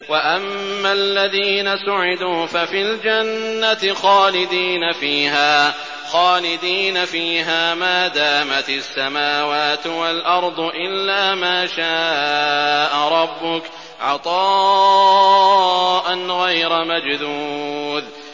۞ وَأَمَّا الَّذِينَ سُعِدُوا فَفِي الْجَنَّةِ خَالِدِينَ فِيهَا مَا دَامَتِ السَّمَاوَاتُ وَالْأَرْضُ إِلَّا مَا شَاءَ رَبُّكَ ۖ عَطَاءً غَيْرَ مَجْذُوذٍ